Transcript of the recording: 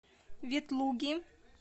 ветлуги